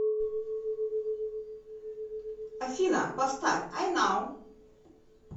афина поставь ай нау